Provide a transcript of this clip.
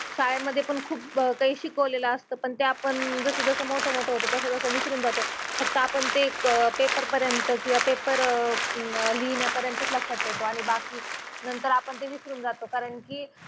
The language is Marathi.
शाळे मधे पण खुप कई शिकवलेलं अस्तात ते पण आपण जस जस मोठ मोठ होतो तस तस विसुरून जातो. फक्त आपन ते पेपर पर्यंत किव्हा पेपर लिहिण्या पर्यंत लक्षात ठेवतो आणि बाकी नंतर आपन ते विसरून जातो कारण कि